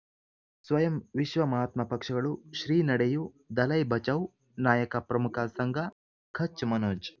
ಸ್ವಯಂ ವಿಶ್ವ ಮಹಾತ್ಮ ಪಕ್ಷಗಳು ಶ್ರೀ ನಡೆಯೂ ದಲೈ ಬಚೌ ನಾಯಕ ಪ್ರಮುಖ ಸಂಘ ಕಚ್ ಮನೋಜ್